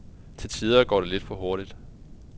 Til tider går det lidt for hurtigt.